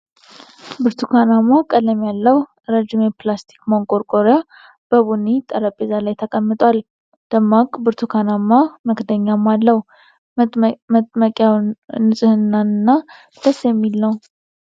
ብርቱካናማ ቀለም ያለው ረዥም የፕላስቲክ ማንቆርቆሪያ በቡኒ ጠረጴዛ ላይ ተቀምጧል። ደማቅ ብርቱካናማ መክደኛም አለው። መጥመቂያው ንጽህናን እና ደስ የሚል ነው።